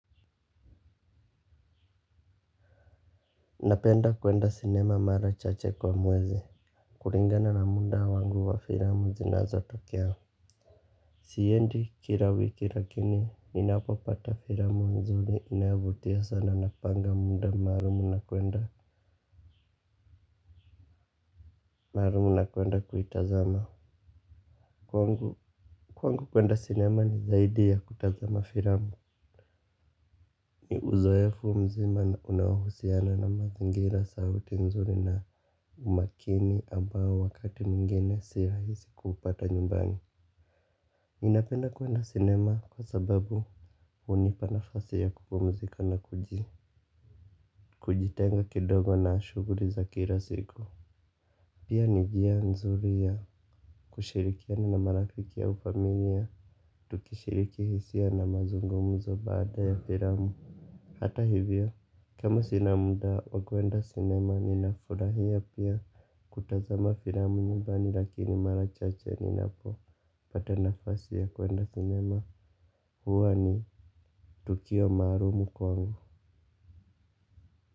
Napenda kwenda sinema mara chache kwa mwezi. Kulingana na munda wangu wa filamu zinazo tokea. Siendi kila wiki lakini ninapopata filamu nzuri inayovutia sana napanga muda maalumu na kuenda kuitazama. Kwangu kwenda sinema ni zaidi ya kutazama filamu. Ni uzoefu mzima unaohusiana na mazingira sauti nzuri na umakini ambao wakati mwingine si rahisi kuupata nyumbani ninapenda kuenda cinema kwa sababu hunipa nafasi ya kupumzika na kujitenga kidogo na shuguli za kila siku. Pia ni njia nzuri ya kushirikiana na marafiki au familia. Tukishiriki hisia na mazungumuzo baada ya firamu. Hata hivyo, kama sina muda wa kuenda sinema ninafurahia pia kutazama firamu nyubani lakini mara chache ninapopata nafasi ya kuenda sinema huwa ni tukio maalumu kwangu.